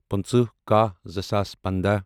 پٕنٛژٕ کَہہ زٕ ساس پنداہ